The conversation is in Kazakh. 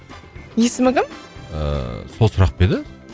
есімі кім ыыы сол сұрақ па еді